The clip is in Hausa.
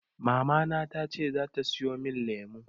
Mamana tace zata siyo min lemu.